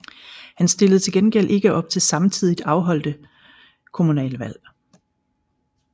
Han stillede til gengæld ikke op til samtidigt afholdte kommunalvalg